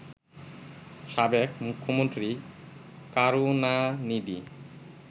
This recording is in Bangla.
সাবেক মুখ্যমন্ত্রী কারুনানিধি